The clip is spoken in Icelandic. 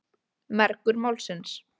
Mergur málsins.